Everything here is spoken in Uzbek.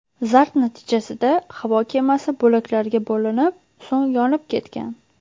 Zarb natijasida havo kemasi bo‘laklarga bo‘linib, so‘ng yonib ketgan.